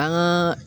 An ka